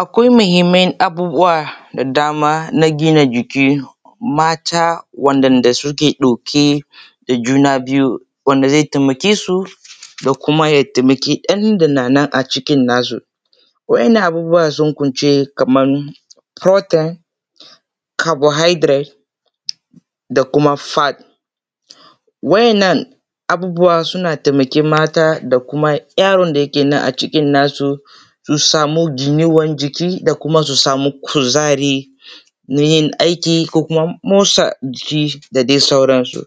Akwai muhinman abubuwa da daman a gina jikin mata waɗanda suke ɗauke da juna biyu wanda ze taimake su da kuma ɗan da na cikin jiki nasu wa’innan abubuwan sun kunce kaman furotel, kabohaidiret da kuma fat wa’innan abubuwa suna taimakai mata da kuma yaron da yake nan a cikin nasu ya samu juyuwan jiki da kuma su samu kuzari na yin aiki ko kuma motsa jiki da dai sauransu.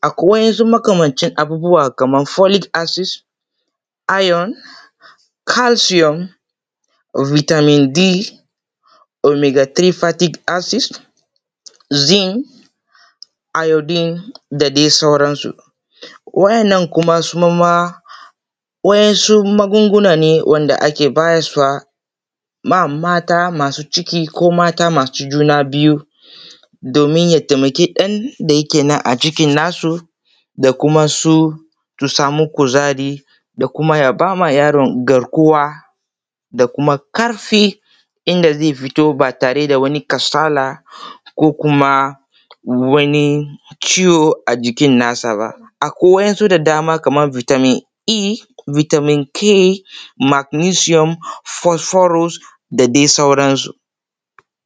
Akwai wasu makamancin abubuwa kaman folik asid, ayon, kalshiyon, bitamin D, omodifatik asid, zink, ayodin da dai sauransu wajen nan kuma suma wa’insu magunguna ne wanda ake bayaswa ma mata masu ciki ko mata masu juna biyu domin ya taimako ɗan nan da yake a cikin cikin nasu da kuma su, su samu kuzari da kuma yaba wa yaron garkuwa da kuma ƙarfi inda ze fito ba tare da wani kasala ko kuma wani ciwo a jikin nasa ba. Akwai wa’in su dama bitamin E, bitamin K magnisiyom fosforos da dai sauransu.